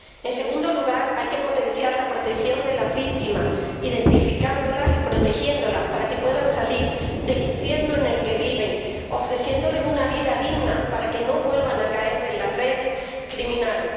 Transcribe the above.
En segundo lugar, hay que potenciar la protección de las víctimas, identificándolas y protegiéndolas para que puedan salir del infierno en el que viven, ofreciéndoles una vida digna para que no vuelvan a caer en las redes criminales.